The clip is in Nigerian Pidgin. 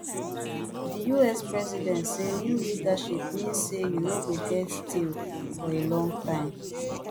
di us president say new leadership mean say you no go get deal for a long time